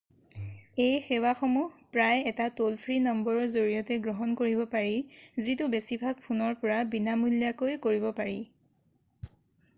এই সেৱাসমূহ প্ৰায়ে এটা ট'ল-ফ্ৰী নম্বৰৰ জৰিয়তে গ্ৰহণ কৰিব পাৰি যিটো বেছিভাগ ফোনৰ পৰা বিনামূলীয়াকৈ কৰিব পাৰি